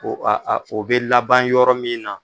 Ko o b'a fɔ a bɛ laban yɔrɔ min na.